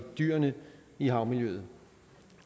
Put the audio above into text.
dyrene i havmiljøet